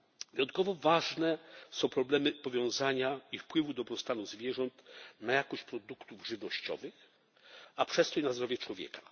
Wyjątkowo ważne są problemy powiązania i wpływu dobrostanu zwierząt na jakość produktów żywnościowych, a przez to i na zdrowie człowieka.